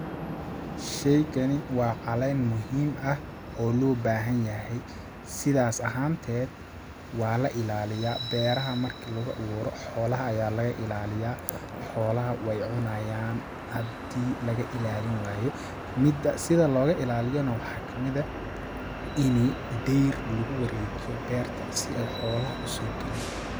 Sheygani waa caleen muhiim ah oo loo baahan yahay ,sidaas ahaan teed waa la ilaliyaa beeraha marki lagu awuuro ,xoolaha ayaa laga ilaliyaa ,xoolaha weey cunayaan hadii laga ilaalin waayo ,mida sida looga ilaaliyo ne waxaa kamid eh ini deer lagu wareejiyo beerta si ay xoolaha usoo galin .